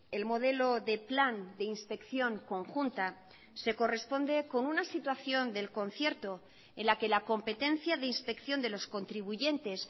el modelo de plan de inspección conjunta se corresponde con una situación del concierto en la que la competencia de inspección de los contribuyentes